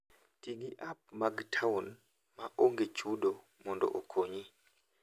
Ti gi app mag taon ma onge chudo mondo okonyi.